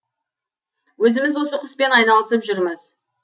өзіміз осы құспен айналысып жүрміз